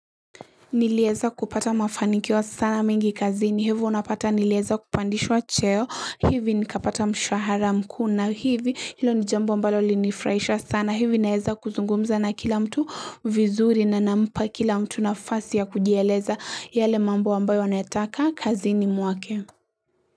Nilieza kupata mafanikio sana mingi kazini, hivyo unapata nileza kupandishwa cheo, hivi nikapata mshahara mkuu na, hivi ilo ni jambo ambalo linifraisha sana, hivi naeza kuzungumza na kila mtu vizuri na nampa kila mtu nafasi ya kujieleza yale mambo ambayo wanataka kazini muake.